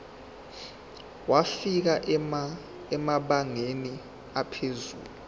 wafika emabangeni aphezulu